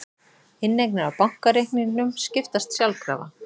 Inneignir á bankareikningum skiptast sjálfkrafa